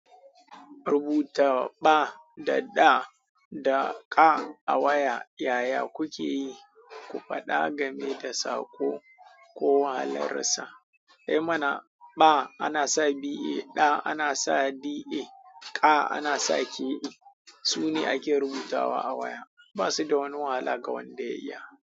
Rubuta ɓa da ɗa da ƙa a waya yaya kukeyi? Ku faɗa game da saƙo ko wahalarsa. I mana ɓa ana sa ba, ɗa ana sa da, ƙa ana sa ka. Su ne ake rubutawa a waya. Ba su da wani wahala ga wanda ya iya.